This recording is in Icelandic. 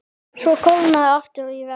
Svo kólnaði aftur í veðri.